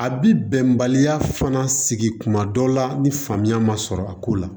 A bi bɛnbaliya fana sigi kuma dɔ la ni faamuya ma sɔrɔ a ko la